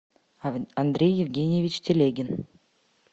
андрей евгеньевич телегин